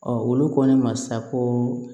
olu ko ne ma sa ko